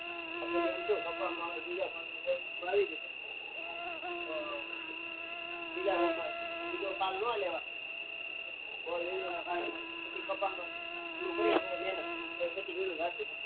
આપને એમ થાય કપા માં તીજા ભાગ નું રુ આવી ગયું તો બીજ બીજો પાક ન લેવાય બહુ ના કારણે કપા માં પેલું કરીલો મેહનત પછી તોએ ઈયર જતી નહી